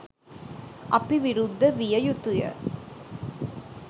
අපි විරුද්ධ විය යුතුය.